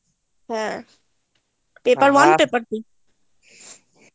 হ্যাঁ paper one paper two